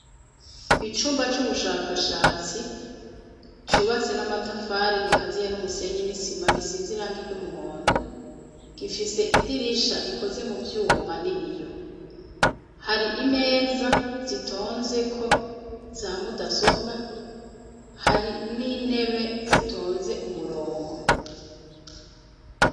Icumba c'ubushakashatsi cubatse n'amatafari gikaziye n'umusenyi n'isima gisizirango iryo umuhondo gifise idirisha rikoze mu vyuma n'ibiyo hari imeza zitonzeko za mudasobwa hari n'intebe zitonze ze umurongo.